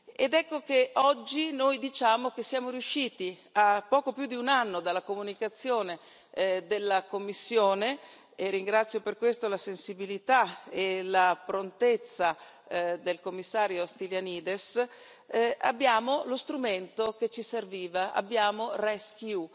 Ed ecco che oggi noi diciamo che siamo riusciti, a poco più di un anno dalla comunicazione della Commissione e ringrazio per questo la sensibilità e la prontezza del Commissario Stylianides ad avere lo strumento che ci serviva, abbiamo RescEU.